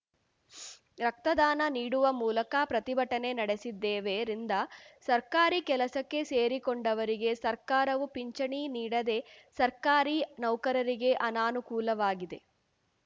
ರಕ್ತದಾನ ನೀಡುವ ಮೂಲಕ ಪ್ರತಿಭಟನೆ ನಡೆಸಿದ್ದೇವೆ ರಿಂದ ಸರ್ಕಾರಿ ಕೆಲಸಕ್ಕೆ ಸೇರಿಕೊಂಡವರಿಗೆ ಸರ್ಕಾರವು ಪಿಂಚಿಣಿ ನೀಡದೆ ಸರ್ಕಾರಿ ನೌಕರರಿಗೆ ಅನಾನುಕೂಲವಾಗಿದೆ